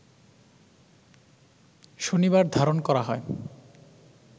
শনিবার ধারণ করা হয়